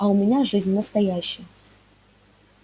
а у меня жизнь настоящая